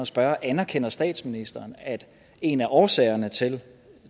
spørge anerkender statsministeren at en af årsagerne til